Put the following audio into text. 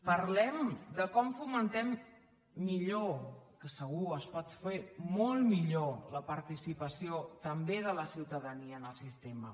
parlem de com fomentem millor que segur es pot fer molt millor la participació també de la ciutadania en el sistema